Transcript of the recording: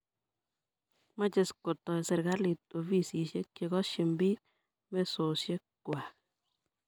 mache kotoy seikalit ofisishek che kashini piik mesoshok kwai